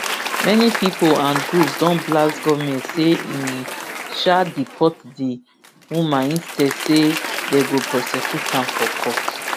many pipo and groups don blast goment say im um deport di woman instead say dey go prosecute am for court